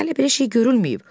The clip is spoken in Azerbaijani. Hələ belə şey görülməyib.